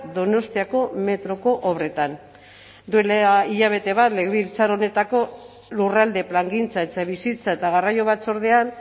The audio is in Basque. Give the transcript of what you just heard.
donostiako metroko obretan duela hilabete bat legebiltzar honetako lurralde plangintza etxebizitza eta garraio batzordean